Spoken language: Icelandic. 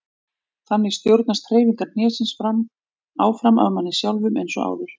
Þannig stjórnast hreyfingar hnésins áfram af manni sjálfum eins og áður.